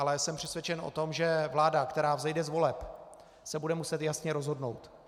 Ale jsem přesvědčen o tom, že vláda, která vzejde z voleb, se bude muset jasně rozhodnout.